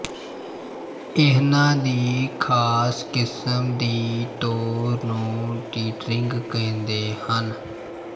ਇਨ੍ਹਾਂ ਦੀ ਖ਼ਾਸ ਕਿਸਮ ਦੀ ਤੋਰ ਨੂੰ ਟੀਟਰਿੰਗ ਕਹਿੰਦੇ ਹਨ